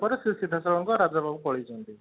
ସେ ସିଧା ସଳଖ ରାଜା ପାଖକୁ ପଳେଇଛନ୍ତି